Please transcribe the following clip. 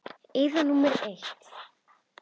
Eyða númer eitt.